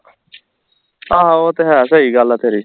ਆਹੋ ਉਹ ਤੇ ਹੈ ਸਹੀ ਗੱਲ ਹੈ ਤੇਰੀ